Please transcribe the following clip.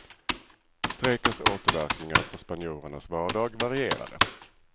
Strejkens återverkningar på spanjorernas vardag varierade.